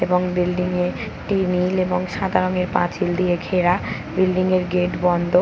এবং বিল্ডিং একটি নীল এবং সাদা রঙের পাঁচিল দিয়ে ঘেরা বিল্ডিং এর গেট বন্ধ ।